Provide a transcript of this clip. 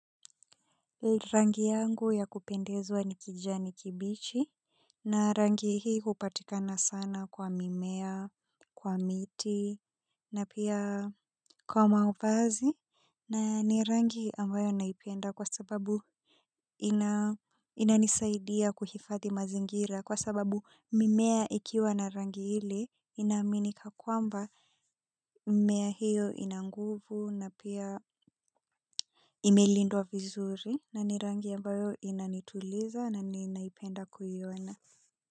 Rangi yangu ya kupendezwa ni kijani kibichi, na rangi hii hupatikana sana kwa mimea, kwa miti, na pia kwa mavazi, na ni rangi ambayo naipenda kwa sababu inanisaidia kuhifadhi mazingira, kwa sababu mimea ikiwa na rangi ile ina aminika kwamba mimea hiyo ina nguvu, na pia imelindwa vizuri na ni rangi ambayo inanituliza na ninaipenda kuiona.